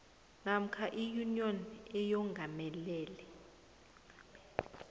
namkha iyuniyoni eyongamele